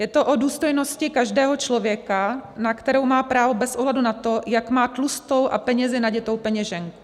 Je to o důstojnosti každého člověka, na kterou má právo bez ohledu na to, jak má tlustou a penězi naditou peněženku.